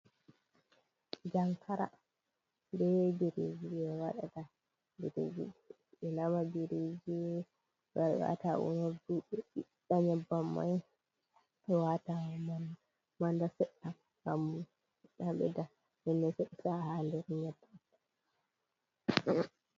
Jankara ɓe biriji ɓe waɗata. Ɓiriji ɓe nama biriji ɓe wara ɓe wata ha unurɗu, ɓe ɓiɗɗa nyeɓɓam mai, ɓe wata mana manɗa seɗɗa. Ha nɗer nyeɓɓam.